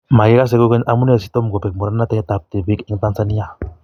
Makekase kokeny amunee sitomkobek muratanet ab tibiik en Tanzania?